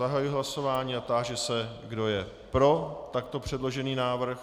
Zahajuji hlasování a táži se, kdo je pro takto předložený návrh.